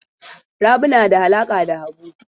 Rabi na da alaƙa da Habu.